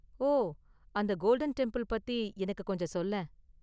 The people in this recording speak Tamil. ஓ, அந்த கோல்டன் டெம்பிள் பத்தி எனக்கு கொஞ்சம் சொல்லேன்.